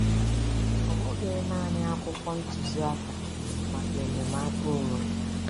Ọ bụghị naanị akwụkwọ ntuziaka maka enyemaka onwe.